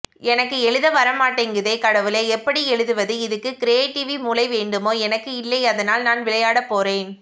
எனக்கு எழுத வரமாட்டேங்குதே கடவுளே எப்படி எழுதவது இதுக்கு கிரியேட்டிவி மூளை வேண்டுமோ எனக்கு இல்லை அதனால் நான் விளையாடப்போறேன்